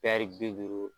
bi duuru